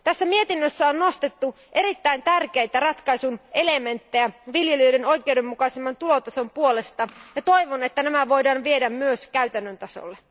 Mietinnössä on nostettu esiin erittäin tärkeitä ratkaisun elementtejä viljelijöiden oikeudenmukaisemman tulotason puolesta ja toivon, että ne voidaan viedä myös käytännön tasolle.